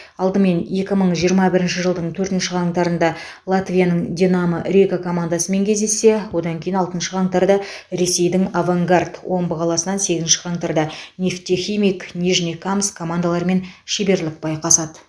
алдымен екі мың жиырма бірінші жылдың төртінші қаңтарында латвияның динамо рига командасымен кездессе одан кейін алтыншы қаңтарда ресейдің авангард омбы қаласынаң сегізінші қаңтарда нефтехимик нижнекамск командаларымен шеберлік байқасады